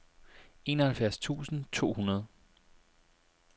enoghalvfjerds tusind to hundrede